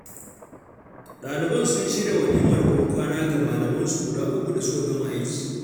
Ɗaliban sun shirya walimar ban kwana ga malamansu guda uku da suka gama aiki.